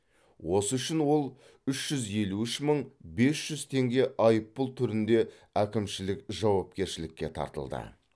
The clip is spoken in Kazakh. осы үшін ол үш жүз елу үш мың бес жүз теңге айыппұл түрінде әкімшілік жауапкершілікке тартылды